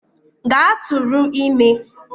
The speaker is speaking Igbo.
Gaa tụrụ ime!